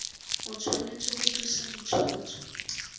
o tshwanetse go tlisa ditshwantsho